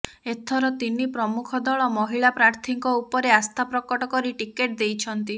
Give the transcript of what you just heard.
ଏଥର ତିନି ପ୍ରମୁଖ ଦଳ ମହିଳା ପ୍ରାର୍ଥୀଙ୍କ ଉପରେ ଆସ୍ଥା ପ୍ରକଟ କରି ଟିକେଟ ଦେଇଛନ୍ତି